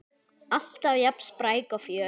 Alltaf jafn spræk og fjörug.